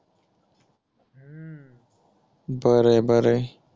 बरे बरे